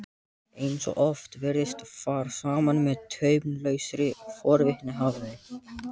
Eins og oft virðist fara saman með taumlausri forvitni, hafði